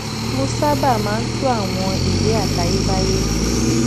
mo sábà máa ń tun àwọn ìwé àtayébáyé